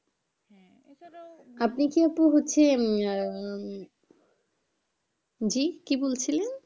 আপনি কি আপু হচ্ছে উম আহ জি কি বলছিলেন?